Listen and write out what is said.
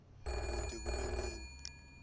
kute kube nini